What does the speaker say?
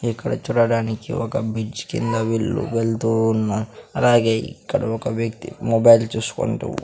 ఇక్కడ చూడడానికి ఒక బిడ్జ్ కింద వీళ్ళు వెళ్తూ ఉన్నా అలాగే ఇక్కడ ఒక వ్యక్తి మొబైల్ చూసుకుంటూ--